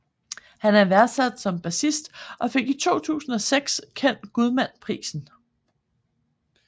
Han er værdsat som bassist og fik i 2006 Ken Gudman Prisen